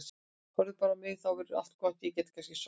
Horfðu bara á mig, þá verður allt gott og ég get kannski sofnað.